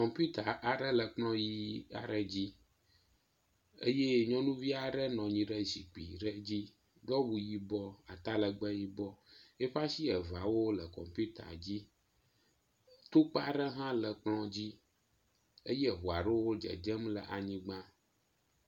Kɔmputa aɖe le kplɔ ʋi aɖe dzi eye nyɔnuvi aɖe nɔ anyi ɖe zikpui ɖe aɖe dzi do awu yibɔ atalegbe yibɔ. Eƒe asi eveawo le kɔmpita dzi. Tukpa aɖe hã le kplɔ dzi eye eŋua aɖewo dzedzem le anyigba.